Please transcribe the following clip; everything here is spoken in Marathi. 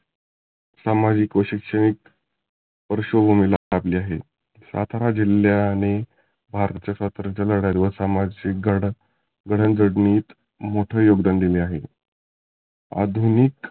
सामाजीक व शैक्षणीक पार्श्वभुमीला लागले आहे. सातारा जिल्ह्याने भारतातील लढ्याचे व सामाजीक गड जडन घडनीत मोठ योगदान दिलं आहे. अधुनीक.